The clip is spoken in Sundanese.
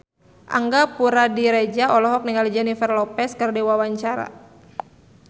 Angga Puradiredja olohok ningali Jennifer Lopez keur diwawancara